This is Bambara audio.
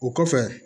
O kɔfɛ